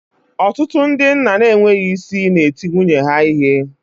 Ọtụtụ ndị nna na-enweghị isi na-eti nwunye ha ihe